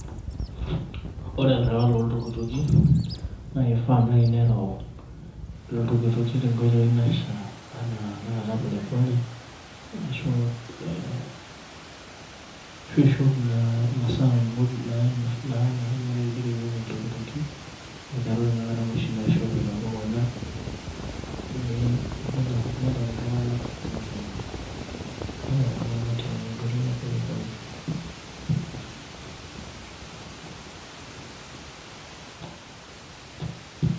Ore olarewani looltukituki naa eifaa naaji nereu iltukituki tenkoitoi naishia enaa tenakata pole pole ashu te ashu ishop naa imasaa muj naifaa nerewueki iltukituki naa enaa noshi naishopi telukunya pee eim nenap iltunganak tenkoitoi eh pole pole .